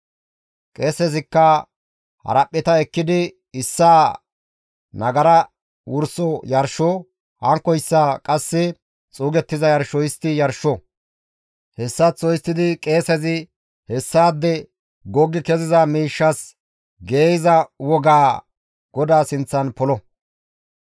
Qeesezikka haraphpheta ekkidi issaa nagara wursos yarsho, hankkoyssa qasse xuugettiza yarsho histti yarsho; hessaththo histtidi qeesezi hessaade goggi keziza miishshas geeyza wogaa GODAA sinththan polo.